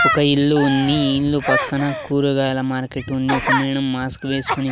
ఒక ఇల్లు ఉంది ఈ ఇల్లు పక్కన కూరగాయల మార్కెట్ ఉంది ఒక మేడం మాస్క్ వేసుకుని--